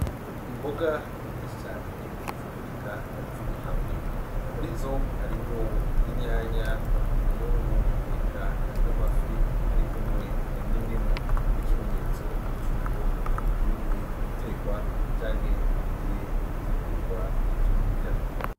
Imboga nyinshi cane ziboneka ziri hamwe, muri zo harimwo inyanya, imyungu eka n'amafi arikumwe n'indimu nk'ikimenyetso cuko bigiye gutekwa canke bigiye gutegurwa n'ivyokurya.